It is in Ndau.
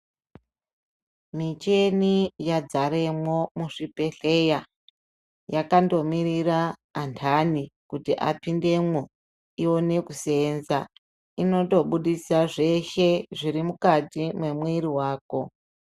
Micheni yadzaremwo muzvibhedhleya yandomirira andani kuti apindemwo ione kuseenza. Inotobudisa zveshe zvirimukati mwemwiri vako.